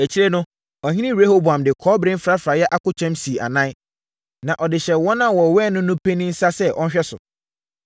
Akyire no, ɔhene Rehoboam de kɔbere mfrafraeɛ akokyɛm sii anan, na ɔde hyɛɛ wɔn a wɔwɛn no no panin nsa sɛ ɔnhwɛ so.